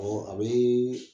a bee